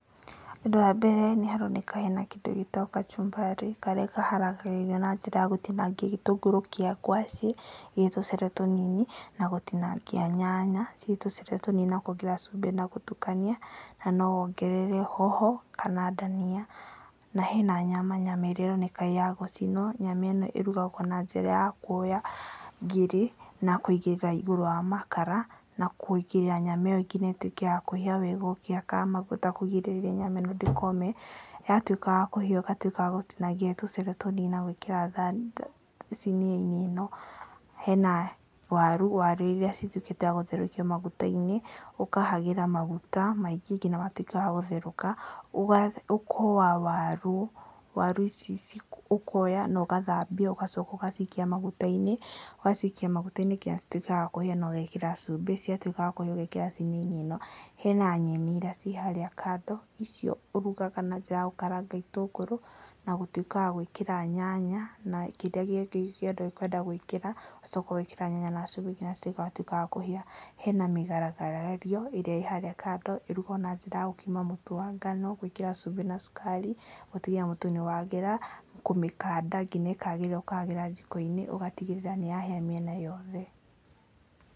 Ũndũ wa mbere nĩ haroneka hena kĩndũ gĩtagwo kacumbari, karĩa kaharagĩrĩrio na njĩra ya gũtinangia gĩtũngũrũ kĩa ngwacĩ gĩ tũcere tũnini na gũtinangia nyanya gĩ tũcere tũnini na kuongerera cumbĩ, na gũtukania, na no wongerere nyanya kana ndania. Na hena nyama, nyama ĩrĩa ĩroneka nĩ ya gũcinwo, nyama ĩno ĩrugagwo na njĩra ya kuoya ngiri na kũigĩrĩra igũrũ wa makara, na kũigĩrĩra nyama ĩyo nginya ĩtuĩke ya kũhĩa wega ũkĩhakaga maguta kũgirĩrĩria nyama ĩno ndĩkome, yatuĩka ya kũhĩa ũgatuĩka wa gũtinangia tũcere tũnini na gwĩkĩra thani sinia -inĩ ĩno, hena waru, waru iria cituĩkĩte wa gũtherũkio maguta-inĩ, ũkahagĩra maguta maingĩ nginya ĩgatuĩka wa gũtherũka, ũkoa waru, waru ici ũkoya na ũgathambia ũgacoka ũgacikia maguta-inĩ, ũgacikia maguta-inĩ nginya cituĩke wa kũhia na ũgekĩra cumbĩ, ciatuĩka cia kũhĩa ũgekĩra sinia -inĩ ĩno, hena nyeni iria ciĩ harĩa kando, icio ũrugaga na njĩra ya gũkera gĩtũngũrũ na gũtuĩka wa gwĩkĩra nyanya, na kĩrĩa gĩothe ũkwenda gwĩkĩra, ũgacoka ũgekĩra nyanya na cumbĩ nginya igatuĩka wa kũhĩa, hena mĩgaragario, ĩrĩa ĩ harĩa kando, ĩrugagwo na njĩra ya gũkima mũtu wa ngano, gwĩkĩra cumbĩ na cukari, gũtigĩrĩra mũtu nĩ wagĩra, kũmĩkanda nginya ĩkagĩrĩra, ũkahagĩra njiko-inĩ ũgatigĩrĩra nĩ yahĩa mĩena yothe.